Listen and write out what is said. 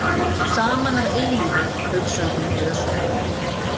Saman að eilífu, hugsar hún dösuð.